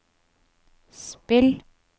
spill